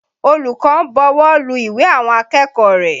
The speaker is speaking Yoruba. Olùkọ́ ń bọwọ́lu ìwé àwọn akẹ́kọ̀ọ́ rẹ̀.